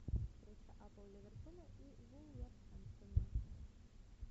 встреча апл ливерпуля и вулверхэмптона